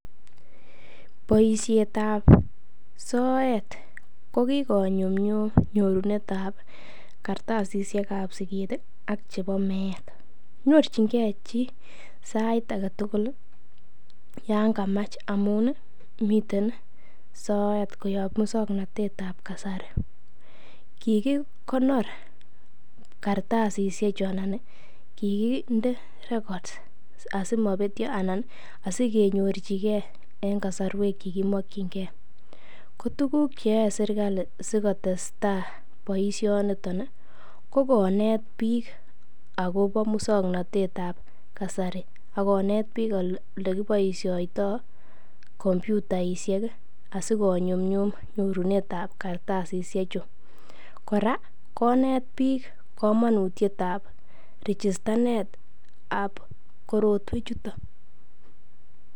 Boisietab soet ko kigonyumnyum nyorunetab kartasishek ab siget ak chebo meet. Nyorjinge chi sait age tugul yon kamach amun miten soet koyob muswoknatet ab kasari. Kigikonor kartasishek chu anan kiginde records asimobetyo anan asikenyorjige en kasarwek che kimokinge. Ko tuguk ch eyoe serkalit si kotestai boisionito ko konet biik agobo muswaknatet ab kasari ak konet biik olekiboiisioto kompyutaishek asikonyumnyum nyorunet ab kartasishechu. Kora konet biik komonutiet ab rijistanet ab korotwechuto